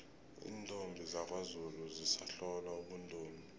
iintombi zakwazulu zisahlolwa ubuntombi